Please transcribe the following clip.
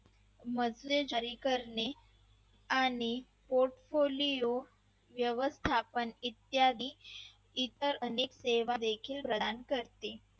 करणे आणि portfolio व्यवस्थापन इत्यादी इतर अनेक सेवा देखील प्रदान करते